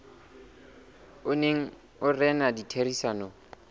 o neng o rena ditherisanong